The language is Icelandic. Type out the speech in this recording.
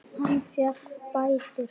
Hann fékk bætur.